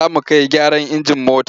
Za mu kai gyaran injin mota.